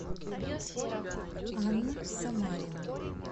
анну самарину